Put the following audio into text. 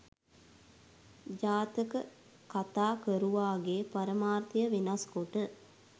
ජාතක කතා කරුවාගේ පරමාර්ථය වෙනස්කොට